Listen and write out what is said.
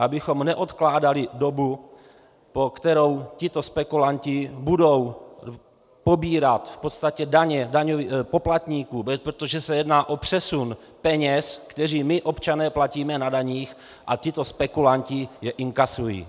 Abychom neodkládali dobu, po kterou tito spekulanti budou pobírat v podstatě daně poplatníků, protože se jedná o přesun peněz, které my občané platíme na daních a tito spekulanti je inkasují.